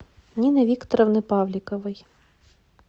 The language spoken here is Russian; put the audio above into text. нины викторовны павликовой